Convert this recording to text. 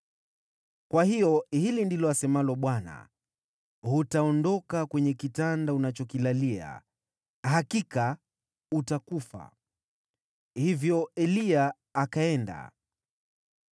Kwa hiyo hili ndilo asemalo Bwana , ‘Hutaondoka kwenye kitanda unachokilalia. Hakika utakufa!’ ” Hivyo Eliya akaenda.